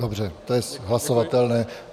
Dobře, to je hlasovatelné.